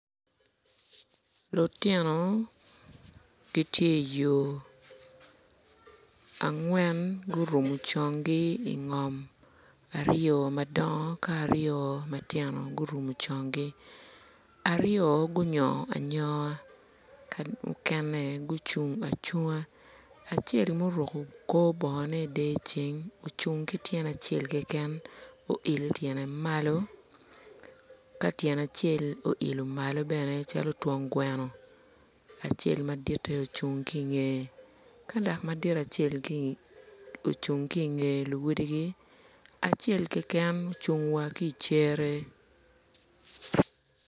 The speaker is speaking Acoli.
Lutino gitye i yo angwen gurumo conggi ingom aryo madongo ka aryo matino gurumo conggi aryo gunyongo anyonga ka mukene gucung acunga acel muruko kor bongone idyeceng ocung ki tyene acel keken oilo tyene malo ka tyene acel oilo malo bene calo twon gweno acel maditte ocung ki inge ka dok madit acel ocung ki inge luwotgi acel keken ocung wa ki icere.